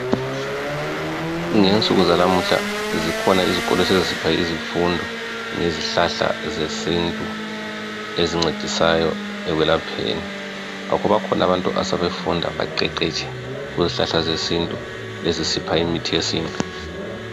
Ngensuku zanamuhla zikhona izikolo esezipha izifundo ngezihlahla zesintu, ezincedisayo ekwelapheni. Ngakho bakhona abantu asebafunda baqeqetshe kuzihlahla zesintu ezisipha imithi yesintu.